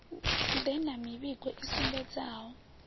ḓe na mivhigo i sumbedzaho